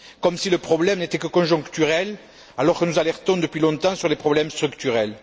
Comme si le problème n'était que conjoncturel alors que nous alertons depuis longtemps sur les problèmes structurels.